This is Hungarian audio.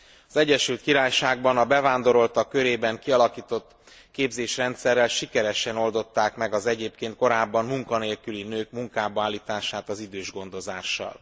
Az Egyesült Királyságban a bevándoroltak körében kialakított képzésrendszerrel sikeresen oldották meg az egyébként korábban munkanélküli nők munkába állítását az idősgondozással.